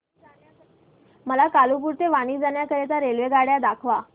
मला कालुपुर ते वापी जाण्या करीता रेल्वेगाड्या दाखवा